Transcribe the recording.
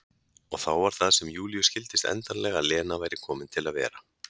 Og þá var það sem Júlíu skildist endanlega að Lena væri komin til að vera.